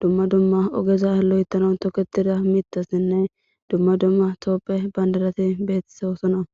duumma duumma ogeza loyththanaw tokkettiza miiththathinne duumma duumma tophphiya banddiratti bettizossonna.